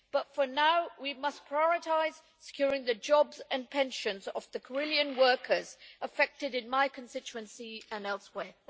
For now, we must prioritise securing the jobs and pensions of the Carillion workers affected in my constituency and elsewhere.